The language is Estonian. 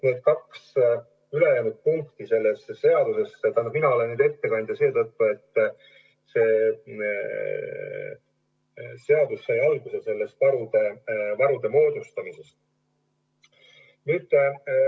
Mina olen eelnõu ettekandja seetõttu, et see seadus sai alguse vajadusest varud moodustada.